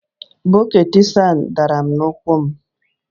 Bọket Sam dara n'ụkwụ m